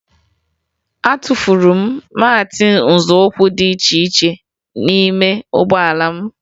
Atụfuru m maatị nzọụkwụ ndị dị n'ime ụgbọala m